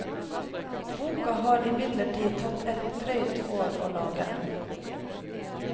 Boka har imidlertid tatt et drøyt år å lage.